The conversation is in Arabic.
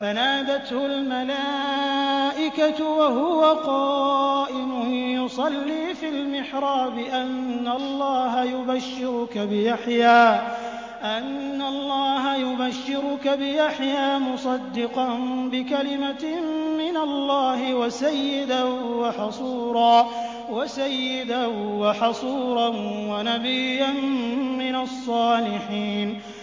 فَنَادَتْهُ الْمَلَائِكَةُ وَهُوَ قَائِمٌ يُصَلِّي فِي الْمِحْرَابِ أَنَّ اللَّهَ يُبَشِّرُكَ بِيَحْيَىٰ مُصَدِّقًا بِكَلِمَةٍ مِّنَ اللَّهِ وَسَيِّدًا وَحَصُورًا وَنَبِيًّا مِّنَ الصَّالِحِينَ